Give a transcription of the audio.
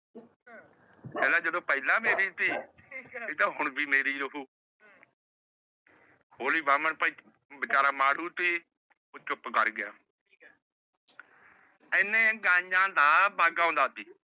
ਕਹਿੰਦਾ ਜਦੋ ਪਹਿਲਾ ਮੇਰੀ ਸੀ। ਇਹ ਤਾਂ ਹੁਣ ਵੀ ਮੇਰੀ ਰਹੂ। ਹੋਲੀ ਬਾਹਮਣ ਭਾਈ ਵਿਚਾਰਾਂ ਮਾੜੂ ਸੀ ਉਹ ਚੁੱਪ ਕਰ ਗਿਆ। ਏਨੇ ਨੂੰ ਗਾਯੀਆਂ ਦਾ ਪੱਗ ਆਉਂਦਾ ਸੀ।